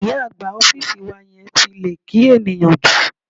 Ìyá àgbà ọ́fíìsì wa yẹn ti lè kí ènìyàn jù.